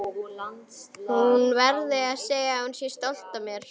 Hún verði að segja að hún sé stolt af mér.